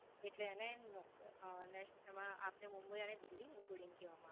એટલે એને નું અમ તેમાં આપને મુંબઈ અને દિલ્હી Including કહેવામાં